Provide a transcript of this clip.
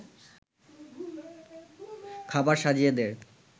খাবার সাজিয়ে দেয়